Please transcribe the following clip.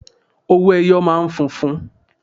Owó ẹyọ máa ń funfun.